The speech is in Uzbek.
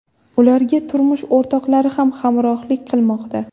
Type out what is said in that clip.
Ularga turmush o‘rtoqlari ham hamrohlik qilmoqda.